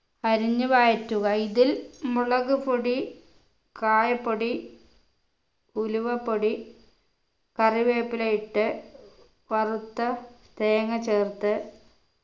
അരിഞ്ഞു വഴറ്റുക ഇതിൽ മുളകുപൊടി കായപ്പൊടി ഉലുവപ്പൊടി കറിവേപ്പില ഇട്ട് വറുത്ത തേങ്ങ ചേർത്ത്